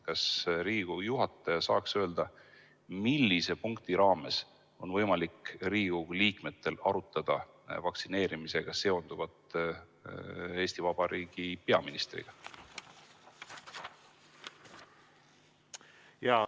Kas Riigikogu juhataja saaks öelda, millise punkti raames on võimalik Riigikogu liikmetel arutada vaktsineerimisega seonduvat Eesti Vabariigi peaministriga?